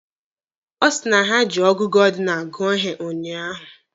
Ọ sị na ha ji ọgụgụ ọdinalụ gụọ ihe ụnyaahụ.